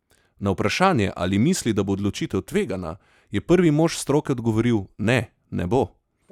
Na vprašanje, ali misli, da bo odločitev tvegana, je prvi mož stroke odgovoril: "Ne, ne bo.